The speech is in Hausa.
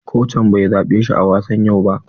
Kocin bai zaɓe shi wa wasan yau ba.